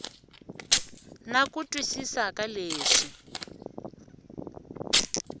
na ku twisisa ka leswi